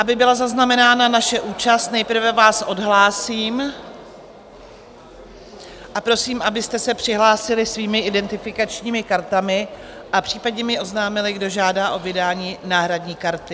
Aby byla zaznamenána naše účast, nejprve vás odhlásím a prosím, abyste se přihlásili svými identifikačními kartami a případně mi oznámili, kdo žádá o vydání náhradní karty.